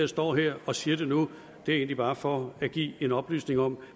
står her og siger det nu er egentlig bare for at give en oplysning om